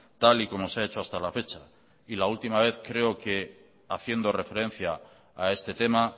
tal y como se ha hecho hasta la fecha y la última vez creo que haciendo referencia a este tema